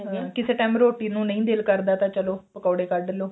ਕਿਸੇ time ਰੋਟੀ ਨੂੰ ਨਹੀਂ ਦਿਲ ਕਰਦਾ ਚਲੋ ਪਕੋੜੇ ਕੱਢ ਲਓ